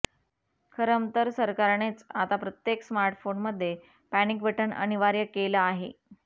खरंतर सरकारनेच आता प्रत्येक स्मार्टफोनमध्ये पॅनिक बटन अनिवार्य केलं आहे